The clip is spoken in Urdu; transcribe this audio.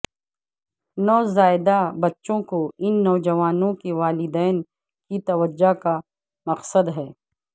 نوزائیدہ بچوں کو ان نوجوانوں کے والدین کی توجہ کا مقصد ہے